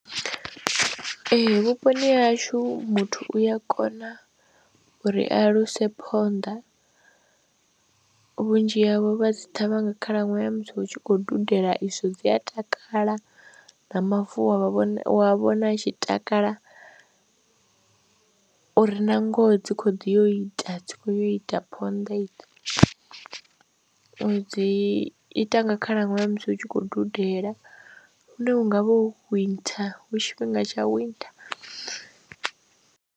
Ee, vhuponi ha hashu muthu u ya kona uri a luse phonḓa vhunzhi havho vha dzi ṱhavha nga khalaṅwaha ya musi hu tshi khou dudela izwo dzi a takala na mavu a vha vhona wa vhona tshi takala uri na ngoho dzi khou ḓi yo ita dzi khou ya u ita ponḓa idzo uri dzi ita nga khalaṅwaha hezwi hu tshi khou dudela hune hu nga hu winter hu tshifhinga tsha winter.